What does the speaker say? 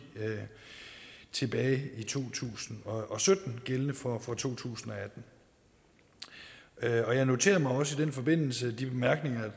tilbage i to tusind og sytten gældende for to tusind og atten jeg noterede mig også i den forbindelse de bemærkninger